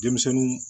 Denmisɛnninw